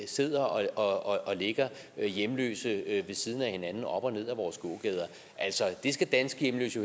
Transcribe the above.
sidder og ligger hjemløse ved siden af hinanden op og ned ad vores gågader altså det skal danske hjemløse